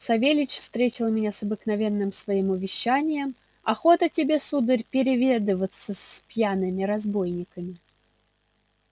савельич встретил меня с обыкновенным своим увещанием охота тебе сударь переведываться с пьяными разбойниками